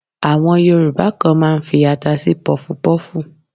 Àwọn Yorùbá kan máa ń fi ata sí pọfupọ́fù.